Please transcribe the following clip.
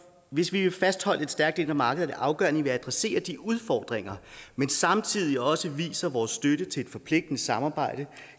hvis vi vil fastholde et stærkt indre marked er det afgørende at vi adresserer de udfordringer men samtidig også viser vores støtte til et forpligtende samarbejde